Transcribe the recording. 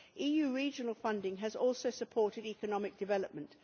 EU regional funding has also supported economic development.